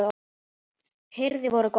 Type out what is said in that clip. hirði vorum góða